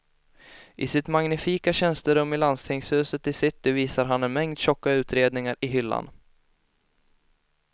I sitt magnifika tjänsterum i landstingshuset i city visar han en mängd tjocka utredningar i hyllan.